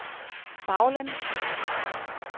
baglæns